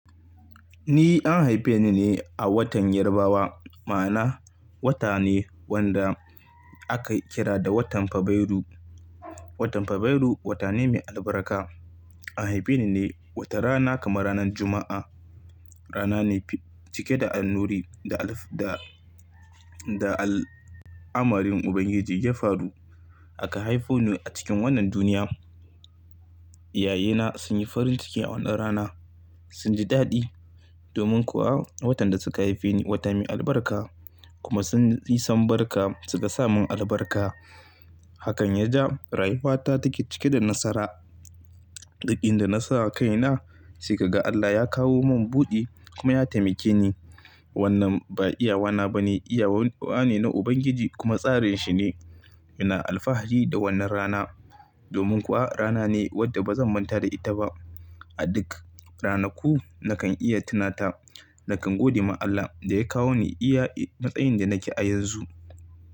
Ni an haife ni ne a watan Yarbawa, ma'ana wata ne wanda aka kira da watan Fabairu. Watan Fabairu wata ne mai albarka. An haife ni ne watar rana kama ranan Juma'a. Rana ne cike da annuri da alif da, da al'amarin Ubangiji ya faru aka haifo ni a cikin wannan duniya. iYayena sun yi farin ciki a wannan rana, sun ji daɗi. Domin kuwa, watan da suka haife ni, wata mai albarka, kuma sun san barka suka samin albarka. Hakan ya ja rayuwata take cike da nasara. Duk inda na sa kaina sai ka ga Allah ya kawo mun buɗi kuma ya taimake ni. Wannan ba iyawana ba ne, iyawa ne na Ubangiji kuma tsarinshi ne. Ina alfahari da wannan rana. Domin kuwa rana ne wadda ba zan manta da ita ba. A duk ranaku nakan iya tunata, nakan gode ma Allah da ya kawo ni iya matsayin da nake a yanzu.